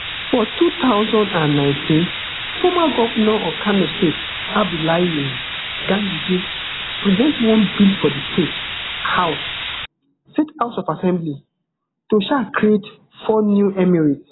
for two thousand and nineteen former govnor of kano state abdullahi um ganduje present one bill for di state house state house of assembly to um create four new emirates